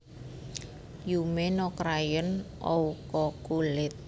Yume no Crayon Oukoku lit